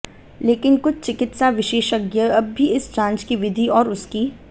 लेकिन कुछ चिकित्सा विशेषज्ञ अब भी इस जांच की विधि और उसकी